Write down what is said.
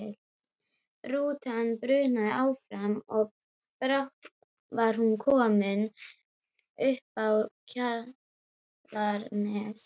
Rútan brunaði áfram og brátt var hún komin uppá Kjalarnes.